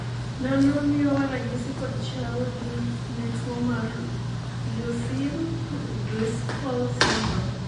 nonro miyowa ranyisi kod chal gi ne tuo mar Lucey Driscoll syndrome